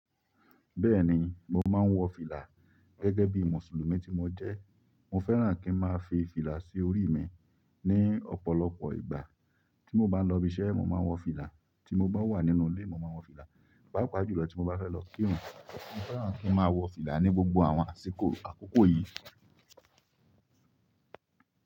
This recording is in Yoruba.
Bẹ́ẹ̀ni, mo máa ń wọ fìlà gẹ́gẹ́ bí Mùsùlùmí tí mo jẹ́. Mo fẹ́ràn kí n máa fi fìlà sí orí mi ní ọ̀pọ̀lọpọ̀ ìgbà. Tí mo bá lọ ibi iṣẹ́, mo máa ń wọ fìlà; tí mo bá wà nínú ilé, mo máa ń wọ fìlà; pàápàá jùlọ tí mo bá fẹ́ lọ kírun, mo fẹ́ràn kí n máa wọ fìlà ní gbogbo àwọn àsìkò àkókò yìí.